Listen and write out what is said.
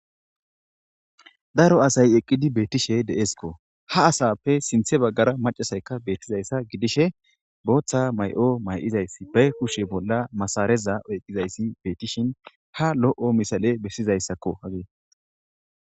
daro asay eqqidi beetishe de7esikko ha asappe sinthe baggara macasaykka beettizayssa gidishe booththa may7o may7izays ba kushe bolla masareza oyqizayssi beetishin ha lo7o misale bessizayssakko hage